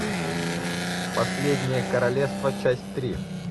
последнее королевство часть три